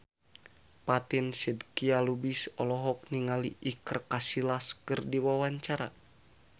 Fatin Shidqia Lubis olohok ningali Iker Casillas keur diwawancara